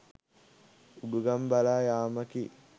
උඩුගම් බලා යාමකි